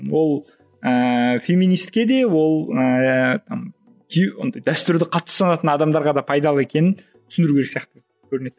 ол ііі феминистке де ол ііі андай дәстүрлі қатты ұстанатын адамдарға да пайдалы екенін түсіндіру керек сияқты көрінеді